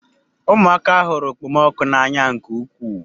Ụmụaka hụrụ okpomọkụ n'anya nke ukwuu.